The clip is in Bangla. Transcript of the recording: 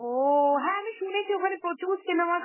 ও, হ্যাঁ আমি শুনেছি ওখানে প্রচুর cinema র